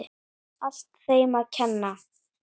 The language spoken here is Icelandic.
Allt þeim að kenna.!